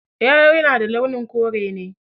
Yalo na da launin kore ne